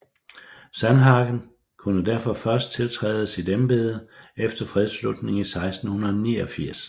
Sandhagen kunne derfor først tiltræde sit embede efter fredslutningen 1689